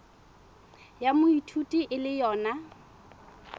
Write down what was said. ya moithuti e le yona